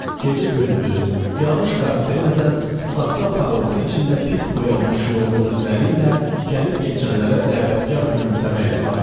Gecə-gündüz, yağış-qar demədən, saxta parıltı içində pis boyanmış yorğun üzləri ilə gəlib-keçənlərə dəvətkar gülümsəməklə baxırdılar.